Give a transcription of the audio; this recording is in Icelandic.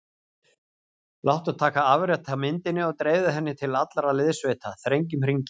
Láttu taka afrit af myndinni og dreifðu henni til allra liðssveita: Þrengjum hringinn.